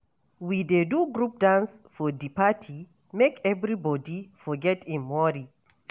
We dey do group dance for di party, make everybodi forget im worry.